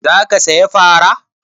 Za ka saya fara?